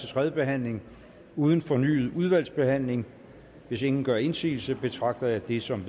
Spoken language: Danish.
tredje behandling uden fornyet udvalgsbehandling hvis ingen gør indsigelse betragter jeg det som